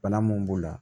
Bana mun b'u la